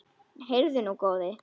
Heyrðu nú, góði!